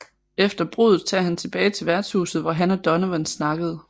Efter bruddet tager han tilbage til værtshuset hvor han og Donovan snakkede